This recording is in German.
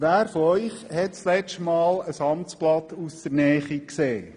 Wer von Ihnen hat in letzter Zeit ein Amtsblatt aus der Nähe gesehen?